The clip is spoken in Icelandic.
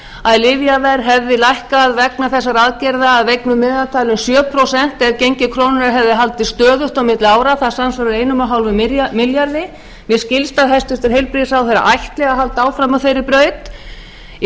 að lyfjaverð hefði lækkað vegna þessara aðgerða að vegnu meðaltali um sjö prósent ef gengi krónunnar hefði haldist stöðugt á milli ára það samsvarar einum komma fimm milljörðum mér skilst að hæstvirtur heilbrigðisráðherra ætli að halda áfram á þeirri braut í